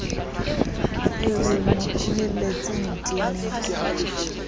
re re mo tlohelletseng tleneng